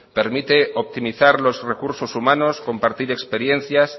permite optimizar los recursos humanos compartir experiencias